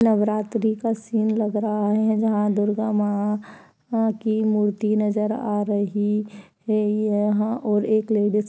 नवरात्री का सीन लग रहा है जहां दुर्गा मां की मूर्ति नजर आ रही है यहां और एक लेडिस --